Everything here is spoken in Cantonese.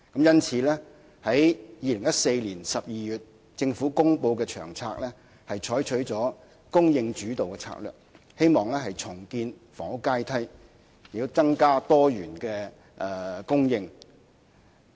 因此，政府在2014年12月公布的《策略》，採取了"供應主導"的策略，希望重建房屋階梯，並增加多元的供應。